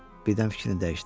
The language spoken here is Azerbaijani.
Birdən fikrini dəyişdi.